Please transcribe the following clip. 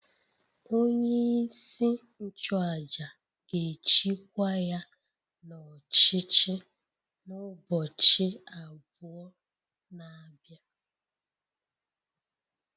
Onye-isi-nchu-àjà gēchi kwa ya n'ọchichi n'ubọchi abụ na bịa